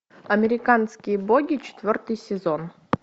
американские боги четвертый сезон